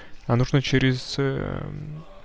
а нужно через